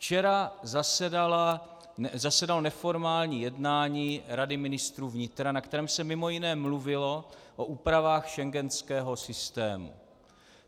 Včera zasedalo neformální jednání Rady ministrů vnitra, na kterém se mimo jiné mluvilo o úpravách schengenského systému.